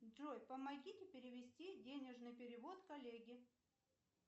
джой помогите перевести денежный перевод коллеге